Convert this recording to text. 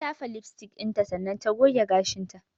Ta shafa lipstick dinta tana goge gashinta.